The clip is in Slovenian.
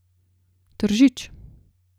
Tržič.